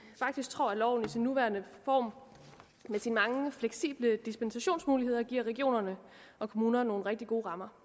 faktisk tror at loven i sin nuværende form med sine mange fleksible dispensationsmuligheder giver regionerne og kommunerne nogle rigtig gode rammer